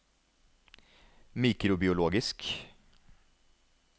mikrobiologisk